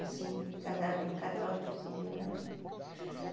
Assim, casado em católico civil não é, não.